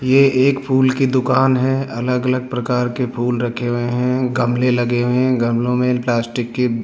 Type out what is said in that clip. ये एक फूल की दुकान है अलग अलग प्रकार के फूल रखे हुए हैं गमले लगे हुए हैं गमलों में प्लास्टिक के --